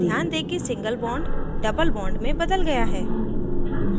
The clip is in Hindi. ध्यान दें single bond double bond में बदल गया है